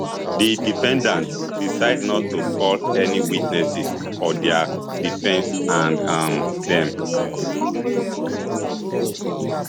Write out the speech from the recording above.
di defendants decide not to call any witnesses for dia defence and um dem